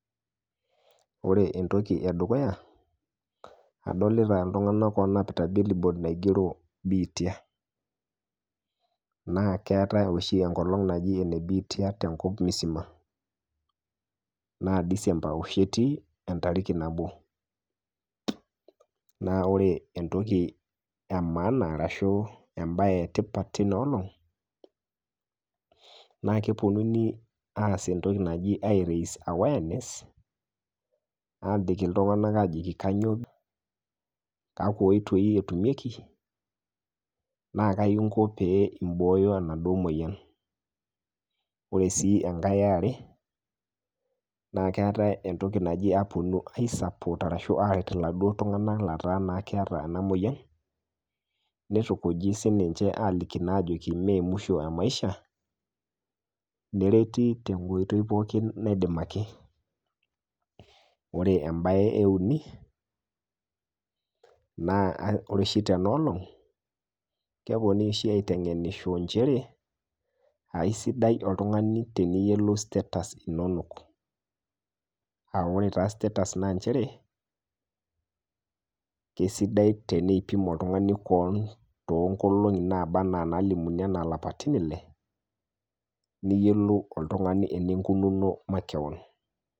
Ore entoki edukuya adolita ltunganak oonapita billboard [cs[ naigero biitia, naa keatae oshii enkolong naji enebiitia te nkop musima, naa [s] december oshii etii entariki nabo, naa ore entoki emaana arashu embaye etipat teina olong, naa keponuni aas entoki najii airaise awareness abik ltunganak aajoki kanyioo kakwa oitoi etumeki, naa kaji inki pee imbooyo enado moyian, ore sii enkae eare naa keate entoki najii aisuport arashu aaret iladuo tunganak letaa naa ena moyian neitukuji ninche sii aajoki mee emswisho emaisha nereti te nkoitoi pooki neidimaki, ore embaye euni naa ore osji tena olong keponii oshi aitengenicho inchere aisidai oltungani teniyiolou status inonok, aa ore taa status naa inchere keisidai teneipim oltungani keon too nkolong'i naba anaa nalimuni anaa lapatin ile niyiolou oltungani ninkununo makeon.